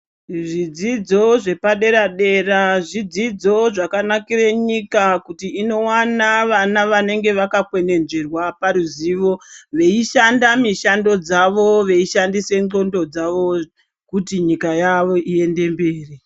Zvidzidzo zvepadera dera zvidzidzo zvakanakire nyika kuti inowana vana wanenge wakakwenenzverwa paruzivo weishanda mishando dzavo weishandise nxondo dzavo kuti nyika yavo iende mberi.